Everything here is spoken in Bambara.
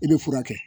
I bɛ furakɛ